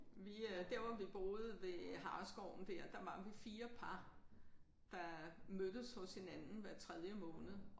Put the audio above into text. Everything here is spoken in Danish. Vi øh der hvor vi boede ved Hareskoven der der var vi 4 par der mødtes hos hinanden hver tredje måned